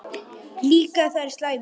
Líka þær slæmu.